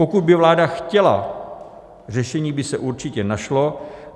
Pokud by vláda chtěla, řešení by se určitě našlo.